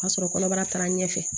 O y'a sɔrɔ kɔnɔbara taara ɲɛfɛ